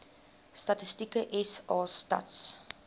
statistieke sa stats